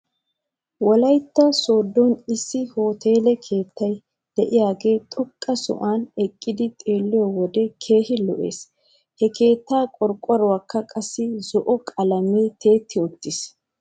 Wolaytta sooddon issi hoteele keettay de'iyaagee xoqqa sohuwan eqqidi xeeliyoo wode keehi lo'es. He keettaa qorqqoruwankka qassi zo'o qalamee tiyetti uttis.